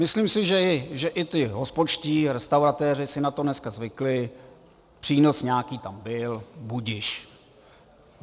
Myslím si, že i ti hospodští, restauratéři si na to dneska zvykli, přínos nějaký tam byl, budiž.